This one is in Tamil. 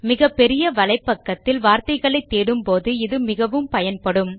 மிகப்பெரிய வலைப்பக்கத்தில் வார்த்தைளைத் தேடும் போது இது மிகவும் பயன் படும்